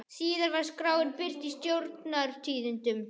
Síðan var skráin birt í Stjórnar- tíðindum.